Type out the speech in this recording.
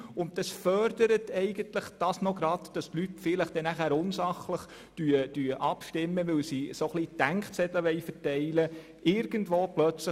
Und das fördert vielleicht auch, dass die Leute unsachlich abstimmen, weil sie eine Art Denkzettel verpassen wollen.